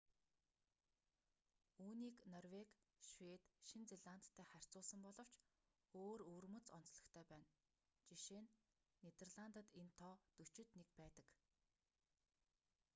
үүнийг норвеги швед шинэ зеландтай харьцуулсан боловч өөр өвөрмөц онцлогтой байна жишээ нь нидерландад энэ тоо дөчид нэг байдаг